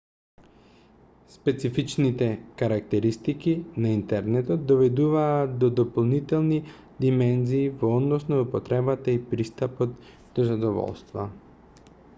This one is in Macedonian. специфичните карактеристики на интернетот доведуваат до дополнителни димензии во однос на употребите и пристапот до задоволства